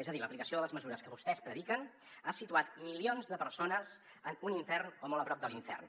és a dir l’aplicació de les mesures que vostès prediquen ha situat milions de persones en un infern o molt a prop de l’infern